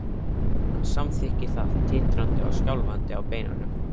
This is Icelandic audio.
Hann samþykkir það, titrandi og skjálfandi á beinunum.